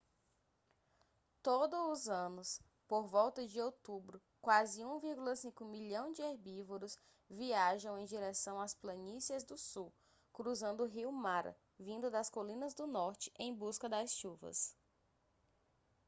todo os anos por volta de outubro quase 1,5 milhão de herbívoros viajam em direção às planícies do sul cruzando o rio mara vindo das colinas do norte em busca das chuvas